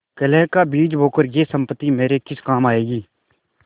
कलह का बीज बोकर यह सम्पत्ति मेरे किस काम आयेगी